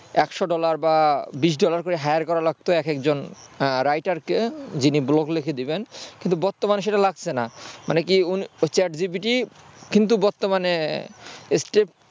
একশো ডলার বা বিশ ডলার করে hire করা লাগতো একেক জন writer কে যিনি ব্লগ লিখে দেবেন কিন্তু বর্তমানে সেটা লাগছে না মানে কি হয়েছে মানে কি chat GPT কিন্তু বর্তমানে